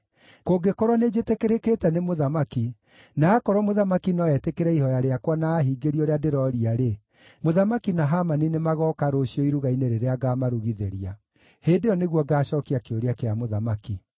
Kũngĩkorwo nĩnjĩtĩkĩrĩkĩte nĩ mũthamaki, na akorwo mũthamaki no etĩkĩre ihooya rĩakwa na aahingĩrie ũrĩa ndĩrooria-rĩ, mũthamaki na Hamani nĩmagooka rũciũ iruga-inĩ rĩrĩa ngaamarugithĩria. Hĩndĩ ĩyo nĩguo ngaacookia kĩũria kĩa mũthamaki.”